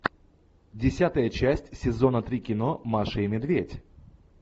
десятая часть сезона три кино маша и медведь